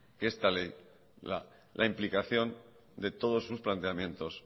que esta ley la implicación de todos sus planteamientos